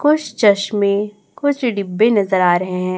कुछ चश्मे कुछ डिब्बे नजर आ रहे हैं।